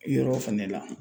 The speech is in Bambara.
Yɔrɔ fɛnɛ la